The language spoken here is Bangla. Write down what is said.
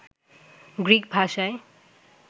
গ্রিক ভাষায়